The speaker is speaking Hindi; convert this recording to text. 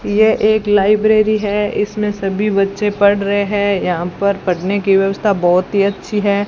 ये एक लाइब्रेरी है इसमें सभी बच्चे पढ़ रहे हैं यहां पर पढ़ने की व्यवस्था बहोत ही अच्छी है।